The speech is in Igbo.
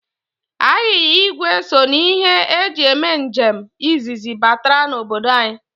Anyịnya igwe so n' ihe e ji eme njem izizi batara obodo anyị.